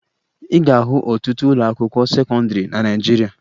Ị ga-ahụ ọtụtụ ụlọakwụkwọ sekọndịrị na Naịjirịa